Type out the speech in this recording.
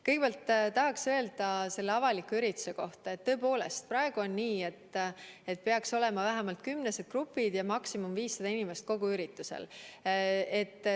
Kõigepealt tahaks öelda selle avaliku ürituse kohta, et tõepoolest, praegu on nii, et peaks olema kuni kümnesed grupid ja maksimaalselt 500 inimest kogu üritusel.